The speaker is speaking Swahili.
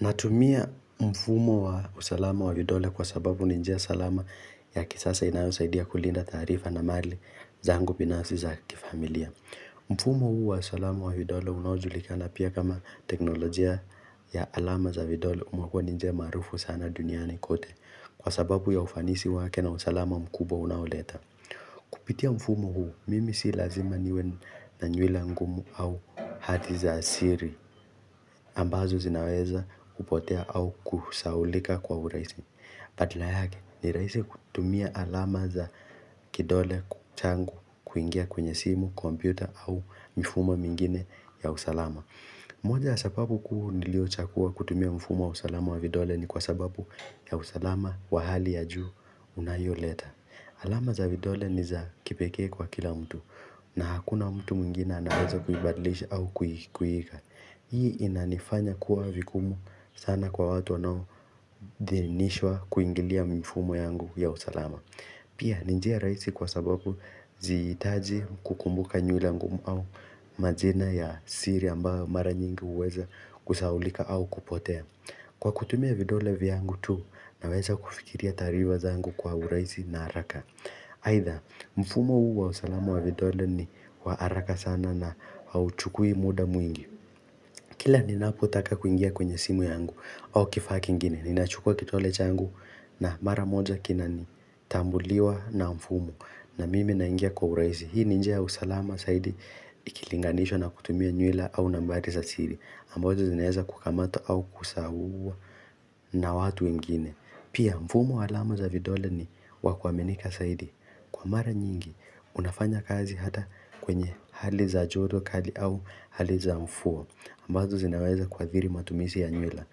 Natumia mfumo wa usalama wa vidole kwa sababu ni njia salama ya kisasa inayosaidia kulinda taarifa na mali zangu binafsi za kifamilia. Mfumo huu wa usalama wa vidole unawajulikana pia kama teknolojia ya alama za vidole umekua ni njia maarufu sana duniani kote kwa sababu ya ufanisi wake na usalama mkubwa unaoleta. Kupitia mfumo huu, mimi si lazima niwe na nywila ngumu au hati za siri ambazo zinaweza kupotea au kusahaulika kwa uraisi. Badala yake ni raisi kutumia alama za kidole, changu, kuingia kwenye simu, kompyuta au mfumo mengine ya usalama. Moja sababu kuu niliochagua kutumia mfumo wa usalama wa vidole ni kwa sababu ya usalama wa hali ya juu unayoleta. Alama za vidole niza kipekee kwa kila mtu na hakuna mtu mwingine anaweza kuibadilisha au kuieka. Hii inanifanya kuwa vigumu sana kwa watu wanao denishwa kuingilia mfumo yangu ya usalama. Pia ni njia raisi kwa sababu sihitaji kukumbuka nyula ngumu au majina ya siri ambao mara nyingi uweza kusaulika au kupotea. Kwa kutumia vidole vyangu tu, naweza kufikiria taarifa zangu kwa uraisi na haraka aitha, mfumo huu wa usalama wa vidole ni wa haraka sana na hauchukui muda mwingi Kila ninapotaka kuingia kwenye simu yangu, au kifaki kingine, ninachukua kidole changu na mara moja kina ni tambuliwa na mfumo na mimi naingia kwa uraisi, hii ni njia usalama saidi ikilinganishwa na kutumia nyula au nambari za siri ambazo zinaweza kukamata au kusahua na watu ingine Pia mfumo alama za vidole ni wakuaminika zaidi Kwa mara nyingi, unafanya kazi hata kwenye hali za joto kali au hali za mvua ambazo zinaweza kuadhiri matumizi ya nyula